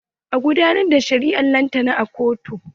An gudanar da shari'ar lantana a kotu.